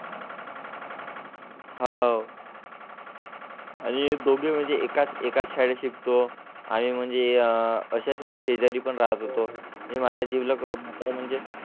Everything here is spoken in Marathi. आहेत. आणि दोघे म्हणजे एकाच एकाच शाळेत शिकतो. आम्ही म्हणजे अशाच म्हणजे शेजारी पण राहात होतो. माझ्या जिवलग म्हणजे